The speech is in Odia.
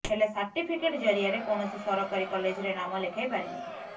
ହେଲେ ସାର୍ଟିଫିକେଟ୍ ଜରିଆରେ କୌଣସି ସରକାରୀ କଲେଜରେ ନାମ ଲେଖାଇ ପାରିନଥିଲେ